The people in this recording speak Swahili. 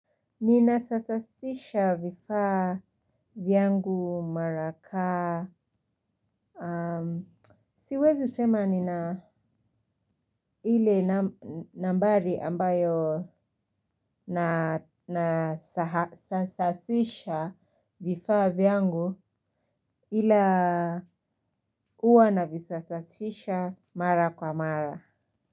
Ninasasasisha vifaa vyangu mara kaa. Siwezi sema nina ile nambari ambayo nasasasisha vifaa vyangu ila huwa na visasasisha mara kwa mara.